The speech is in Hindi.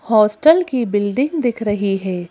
हॉस्टल की बिल्डिंग दिख रही हैं।